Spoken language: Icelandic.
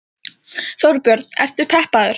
Þorbjörn: Ertu peppaður?